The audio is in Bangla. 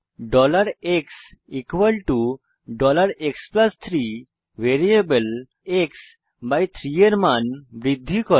xx3 x বাই 3 ভ্যারিয়েবলের মান বৃদ্ধি করে